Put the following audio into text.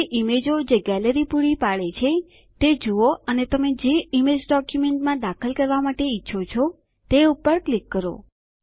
હવે ઈમેજો જે ગેલેરી પૂરી પાડે છે તે જુઓ અને તમે જે ઈમેજ ડોક્યુંમેંટમાં દાખલ કરવા માટે ઈચ્છો છો તે પર ક્લિક કરો